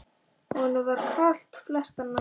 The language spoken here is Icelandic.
Honum var kalt flestar nætur.